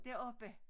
Deroppe